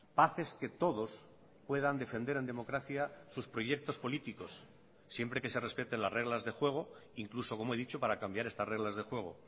paz es que todos puedan defender en democracia sus proyectos políticos siempre que se respeten las reglas de juego incluso como he dicho para cambiar estas reglas de juego